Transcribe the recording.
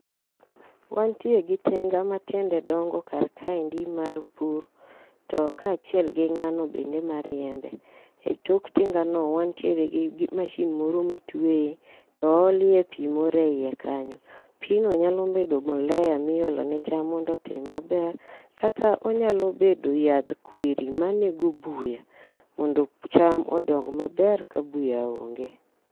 Wantie gi tinga matiende dongo kar kaendi mar pur to kaachiel kod ng'ano bende mariembe. Etok tinga no wantiere gi masin moro motwe to oolie pi moro eiye kanyo. Pi no nyalo bedo mbolea[c s] miolo ne cham mondo otim maber kata onyalo bedo yadh kwiri manego buya mondo cham odong maber ka buya onge.